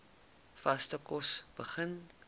vaste kos begin